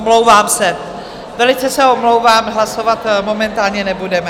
Omlouvám se, velice se omlouvám, hlasovat momentálně nebudeme.